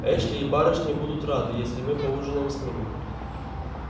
эшли и барышни будут рады если мы поужинаем с ними